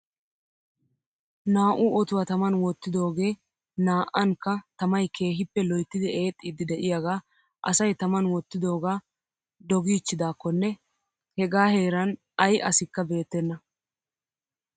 Naa'u otuwaa taman wottidoogee naa'ankka tamay keehippe loyttidi eexxiiddi de'iyaagaa asay taman wottidoogaa dogiichchidaakkonne hegaa heeran ay asikka beettenna .